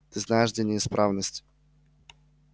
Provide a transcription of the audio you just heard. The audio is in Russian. ты знаешь где неисправность